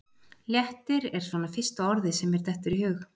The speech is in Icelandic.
Léttir er svona fyrsta orðið sem mér dettur í hug.